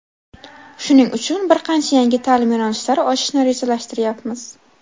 Shuning uchun bir qancha yangi ta’lim yo‘nalishlari ochishni rejalashtiryapmiz.